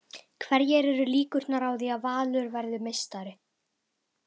Hverjar eru líkurnar á því að Valur verði meistari?